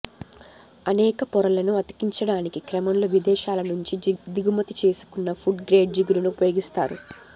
అనేక పొరలను అతికించడానికి క్రమంలో విదేశాల నుంచి దిగుమతి చేసుకున్న ఫుడ్ గ్రేడ్ జిగురును ఉపయోగిస్తారు